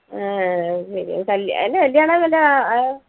ഏർ അത് ശരി അത് കൽ അതിന്റെ കല്യാണാന്നല്ലാ അഹ് ആഹ്